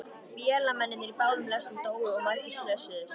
Vélamennirnir í báðum lestunum dóu og margir slösuðust.